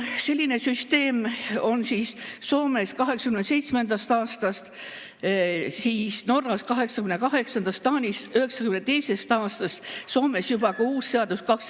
Selline süsteem on Soomes 1987. aastast, Norras 1988. aastast, Taanis 1992. aastast, Soomes on juba ka uus seadus.